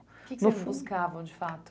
no fun... O que que vocês buscavam de fato?